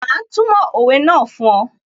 Mà á túmọ̀ òwe náà fún ọ